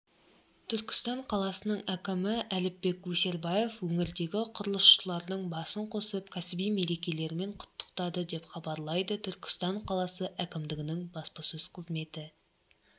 түркістан қаласының әкімі әліпбек өсербаев өңірдегі құрылысшылардың басын қосып кәсіби мерекелерімен құттықтады деп хабарлайды түркістан қаласы әкімдігінің баспасөзі қызметі